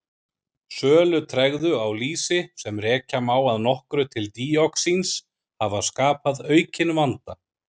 Sölutregðu á lýsi, sem rekja má að nokkru til díoxíns hafa skapað aukinn vanda.